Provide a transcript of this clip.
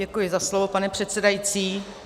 Děkuji za slovo, pane předsedající.